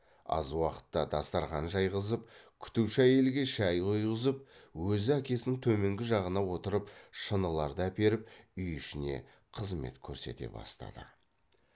аз уақытта дастарқан жайғызып күтуші әйелге шай құйғызып өзі әкесінің төменгі жағына отырып шыныларды әперіп үй ішіне қызмет көрсете бастады